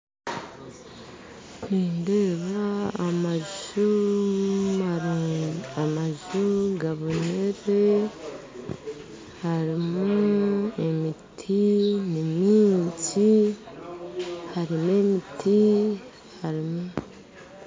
Nindeeba amaju Maru amaju gaboniire harumu emiti nimyingi harumu emiti harumu